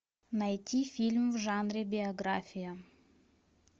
найти фильм в жанре биография